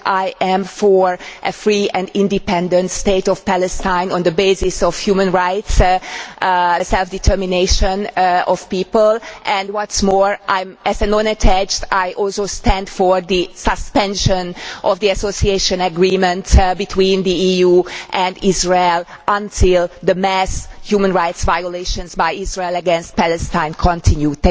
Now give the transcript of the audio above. I am for a free and independent state of Palestine on the basis of human rights and self determination of people. What is more, as a non attached Member, I also stand for the suspension of the association agreements between the EU and Israel while the mass human rights violations by Israel against Palestine continue.